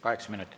Kaheksa minutit.